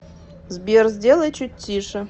сбер сделай чуть тише